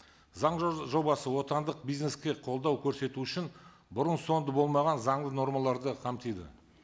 заң жобасы отандық бизнеске қолдау көрсету үшін бұрын соңды болмаған заңды нормаларды қамтиді